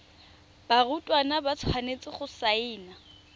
barutwana ba tshwanetse go saena